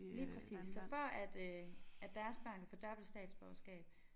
Lige præcis så før at øh at deres børn kan få dobbelt statsborgerskab